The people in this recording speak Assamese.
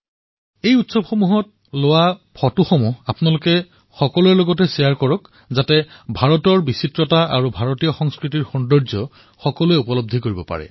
এই উৎসৱত লোৱা আলোকচিত্ৰসমূহ সকলোৰে সৈতে বিনিময় কৰক যাতে ভাৰতৰ বৈচিত্ৰতা তথা ভাৰতীয় সংস্কৃতি সকলোৱে প্ৰত্যক্ষ কৰিব পাৰে